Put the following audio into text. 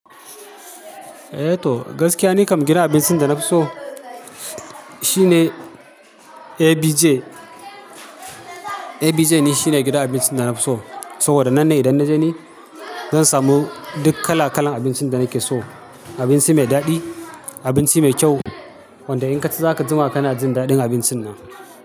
Eh to, gaskiya ni kam gidan abincin da na fi so shine ABJ. ABJ ni shine gidan abincin da na fi so saboda nan ne idan na je ni, zan samu duk kala-kalan abincin da nake so. Abinci mai daɗi, abinci mai kyau wanda in ka zaka zama kana jin daɗin abincin nan.